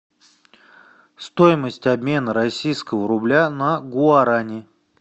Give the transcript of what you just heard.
стоимость обмена российского рубля на гуарани